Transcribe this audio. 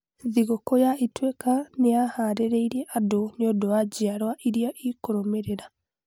Thigũkũ ya Ituĩka nĩ yaaharĩirie andũ nĩ ũndũ wa njiarũa iria ikũrũmĩrĩra.